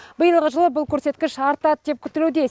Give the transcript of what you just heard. биылғы жылы бұл көрсеткіш артады деп күтілуде